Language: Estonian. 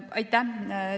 Aitäh!